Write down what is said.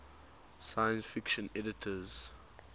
science fiction editors